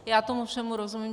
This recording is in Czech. Já tomu všemu rozumím.